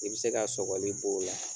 I bɛ se ka sɔgɔli b'o la.